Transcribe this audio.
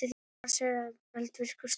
Mars er eða var eldvirkur staður.